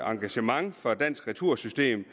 engagement fra dansk retursystem